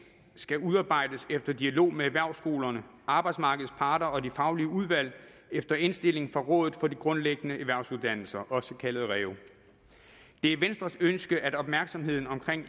skal udarbejdes efter dialog med erhvervsskolerne arbejdsmarkedets parter og de faglige udvalg efter indstilling fra rådet for de grundlæggende erhvervsuddannelser også kaldet reu det er venstres ønske at opmærksomheden omkring